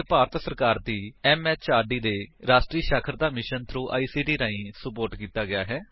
ਇਹ ਭਾਰਤ ਸਰਕਾਰ ਦੀ ਐਮਐਚਆਰਡੀ ਦੇ ਰਾਸ਼ਟਰੀ ਸਾਖਰਤਾ ਮਿਸ਼ਨ ਥ੍ਰੋ ਆਈਸੀਟੀ ਰਾਹੀਂ ਸੁਪੋਰਟ ਕੀਤਾ ਗਿਆ ਹੈ